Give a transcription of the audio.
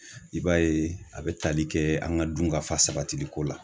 I b'a ye a bi tali kɛ an ka dun ka fa sabati ko la